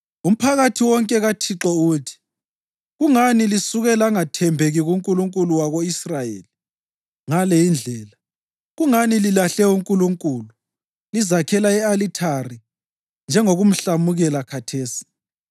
“Umphakathi wonke kaThixo uthi: ‘Kungani lisuke langathembeki kuNkulunkulu wako-Israyeli ngale indlela? Kungani lilahle uNkulunkulu lizakhela i-alithari njengokumhlamukela khathesi.